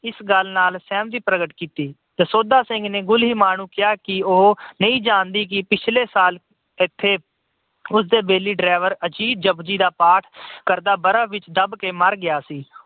ਇਸ ਗੱਲ ਨਾਲ ਸਹਿਮਤੀ ਪ੍ਰਗਟ ਕੀਤੀ। ਦਸੌਂਧਾ ਸਿੰਘ ਨੇ ਗੁਲੀਮਾ ਨੂੰ ਕਿਹਾ ਉਹ ਨਹੀਂ ਜਾਣਦੀ ਕਿ ਪਿਛਲੇ ਸਾਲ ਇਥੇ ਉਸਦੇ ਵੈਲੀ driver ਅਜੀਤ ਜਪੁਜੀ ਦਾ ਪਾਠ ਕਰਦਾ ਬਰਫ ਵਿੱਚ ਦੱਬਕੇ ਮਰ ਗਿਆ ਸੀ।